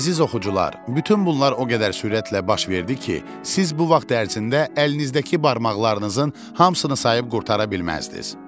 Əziz oxucular, bütün bunlar o qədər sürətlə baş verdi ki, siz bu vaxt ərzində əlinizdəki barmaqlarınızın hamısını sayıb qurtara bilməzdiniz.